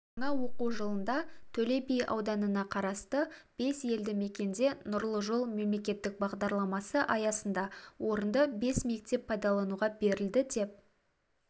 жаңа оқу жылында төле би ауданына қарасты бес елді мекенде нұрлы жол мемлекеттік бағдарламасы аясында орынды бес мектеп пайдалануға берілді деп